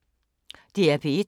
DR P1